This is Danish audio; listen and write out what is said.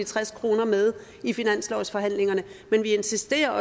tres kroner med i finanslovsforhandlingerne men vi insisterer